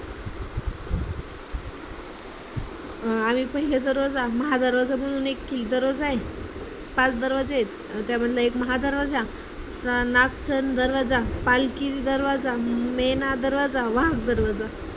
आणि पहिला दरवाजा महा दरवाजा म्हणून एक दरवाजा आहे. पाच दरवाजे आहेत त्या मधला एक महा दरवाजा, नगारखाना दरवाजा, पालखी दरवाजा, मेणा दरवाजा, वाघ दरवाजा